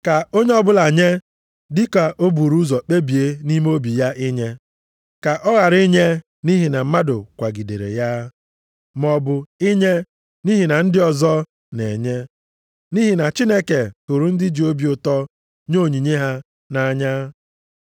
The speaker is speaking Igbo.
Ka onye ọbụla nye dịka o buru ụzọ kpebie nʼime obi ya inye. Ka ọ ghara inye nʼihi na mmadụ kwagidere ya, maọbụ inye nʼihi na ndị ọzọ na-enye, nʼihi na Chineke hụrụ ndị ji obi ụtọ nye onyinye ha nʼanya.